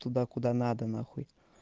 туда куда надо на хуй